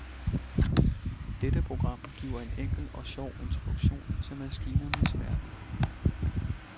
Dette program giver en enkel og sjov introduktion til maskinernes verden.